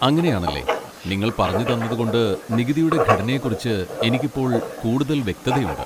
അങ്ങനെയാണല്ലേ, നിങ്ങൾ പറഞ്ഞുതന്നതുകൊണ്ട് നികുതിയുടെ ഘടനയെക്കുറിച്ച് എനിക്ക് ഇപ്പോൾ കൂടുതൽ വ്യക്തതയുണ്ട്.